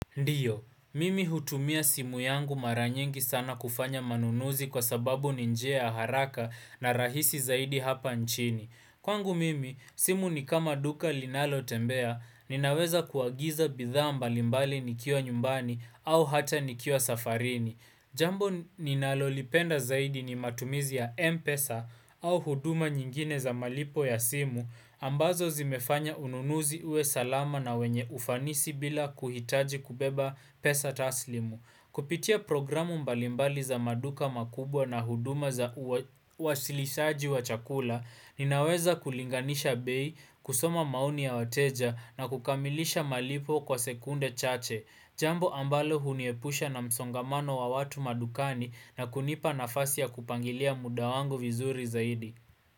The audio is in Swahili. Ndiyo, mimi hutumia simu yangu mara nyingi sana kufanya manunuzi kwa sababu ninjia ya haraka na rahisi zaidi hapa nchini. Kwangu mimi, simu ni kama duka linalo tembea, ninaweza kuagiza bidhaa mbalimbali nikiwa nyumbani au hata nikiwa safarini. Jambo ninalolipenda zaidi ni matumizi ya Mpesa au huduma nyingine za malipo ya simu, ambazo zimefanya ununuzi uwe salama na wenye ufanisi bila kuhitaji kubeba pesa taslimu. Kupitia programu mbalimbali za maduka makubwa na huduma za wasilisaji wa chakula, ninaweza kulinganisha bei, kusoma maoni ya wateja na kukamilisha malipo kwa sekunde chache. Jambo ambalo huniepusha na msongamano wa watu madukani na kunipa nafasi ya kupangilia mudawangu vizuri zaidi.